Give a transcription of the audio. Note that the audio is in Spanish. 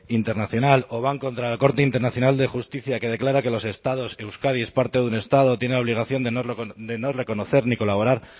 internacional o van contra la corte internacional de justicia que declara que los estados euskadi es parte de un estado tienen obligación de no reconocer ni colaborar